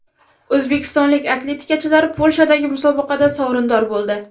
O‘zbekistonlik atletikachilar Polshadagi musobaqada sovrindor bo‘ldi.